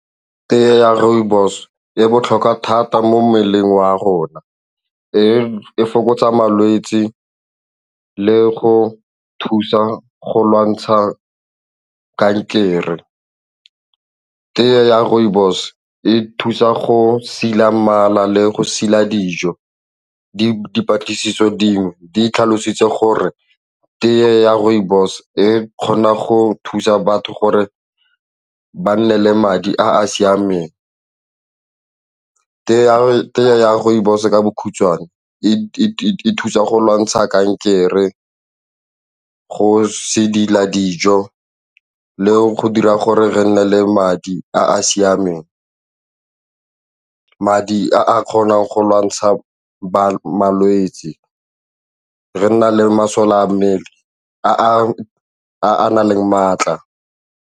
Tee ya rooibos e botlhokwa thata mo mmeleng wa rona, e fokotsa malwetse le go thusa go lwantsha kankere. Tee ya rooibos e thusa go sila mala le go sila dijo di dipatlisiso dingwe di tlhalositse gore teye ya rooibos e kgona go thusa batho gore ba nne le madi a a siameng jang. Rooibos ka bokhutshwane e thusa go lwantsha kankere go se dira dijo le go dira gore re nne le madi a a a siameng, madi a kgonang go lwantsha malwetse, re nna le masole a mmele a a nang le maatla.